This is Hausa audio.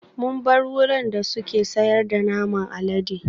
Mun bar wurin da suke sayar da naman alade